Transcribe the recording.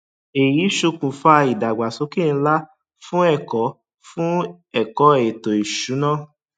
èyí ṣokùnfà ìdàgbàsókè ńlá fún ẹkọ fún ẹkọ ètò ìsúná